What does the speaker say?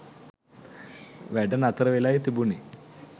වැඩ නතර වෙලායි තිබුණේ.